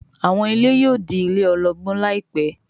àwọn ilé yóò dì ilé ologbon láìpé